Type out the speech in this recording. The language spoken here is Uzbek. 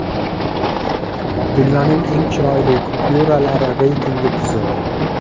Dunyoning eng chiroyli kupyuralari reytingi tuzildi.